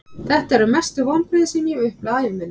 Þetta eru mestu vonbrigði sem ég hef upplifað á ævi minni.